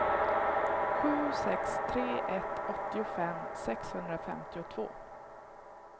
sju sex tre ett åttiofem sexhundrafemtiotvå